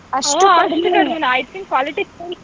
ಕಡಿಮೆನಾ I think qualities .